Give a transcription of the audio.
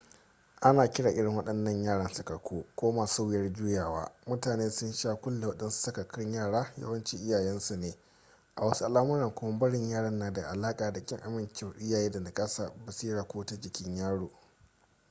ana kiran irin waɗannan yaran sakakku” ko masu wuyar juyawa. mutane sun sha kulle waɗansu sakakkun yara yawanci iyayensu ne; a wasu al’amuran kuma barin yaran na da alaƙa da ƙin amincewar iyaye da naƙasar basira ko ta jikin yaro